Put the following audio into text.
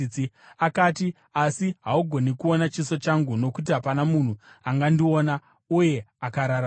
Akati, “Asi haugoni kuona chiso changu, nokuti hapana munhu angandiona uye akararama.”